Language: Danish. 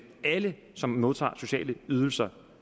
alle som modtager sociale ydelser